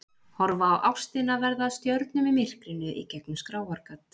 Horfa á ástina verða að stjörnum í myrkrinu í gegnum skráargat.